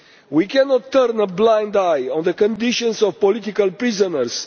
We cannot turn a blind eye to the conditions of political prisoners.